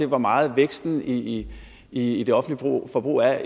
hvor meget væksten i i det offentlige forbrug er